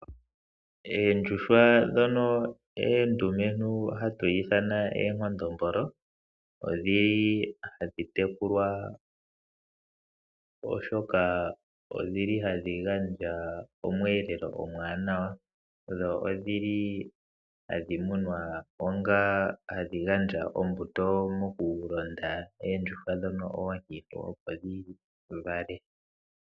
Oondjuhwa ndhono oondumentu ndhono hatu ithana omakondombolo, odhili hadhi tekulwa, oshoka odhili hadhi gandja omweelelo omuwanawa, dho odhili hadhi munwa opo dhi gandje ombuto, mo kulonda oondjuhwa ndhono oonkiintu opo dhi vale.